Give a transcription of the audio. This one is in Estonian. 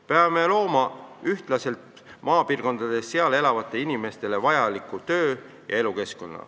Peame looma maapiirkondades elavatele inimestele ühtlase töö- ja elukeskkonna.